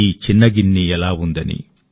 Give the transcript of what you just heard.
ఈ చిన్న గిన్నె ఎలా ఉందని